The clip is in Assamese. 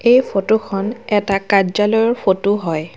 এই ফটো খন এটা কাৰ্য্যালয়ৰ ফটো হয়।